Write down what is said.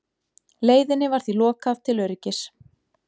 Leiðinni var því lokað til öryggis